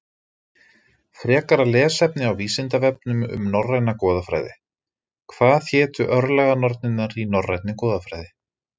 Frekara lesefni á Vísindavefnum um norræna goðafræði: Hvað hétu örlaganornirnar í norrænni goðafræði?